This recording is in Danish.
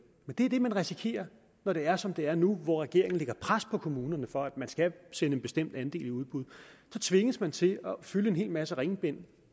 men det er det man risikerer når det er som det er nu hvor regeringen lægger pres på kommunerne for at man skal sende en bestemt andel i udbud så tvinges man til at fylde en hel masse ringbind